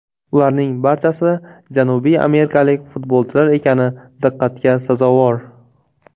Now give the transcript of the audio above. Ularning barchasi janubiy amerikalik futbolchilar ekani diqqatga sazovor.